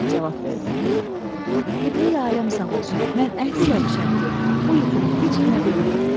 Əhməd cavab verdi: Qibleyi aləm sağ olsun, mən əhd eləmişəm ki, o yuxunu heç kimə deməyim.